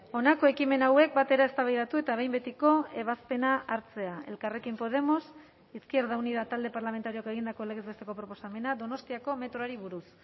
honako ekimen hauek batera eztabaidatu eta behin betiko ebazpena hartzea elkarrekin podemos izquierda unida talde parlamentarioak egindako legez besteko proposamena donostiako metroari buruz